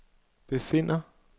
befinder